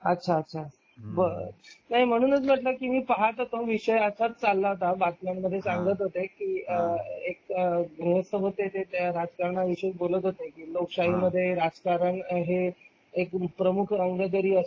अच्छा बरं नाही म्हणूनच म्हंटलं की मे पाहत होतो एक विषय आताच चालला होता बातम्यांमध्ये सांगत होते कि कि एक गृहस्थ राजकारण विषयी बोलत होते कि लोकशाही मध्ये राजकारण हे एक प्रमुख अंगकरी असलं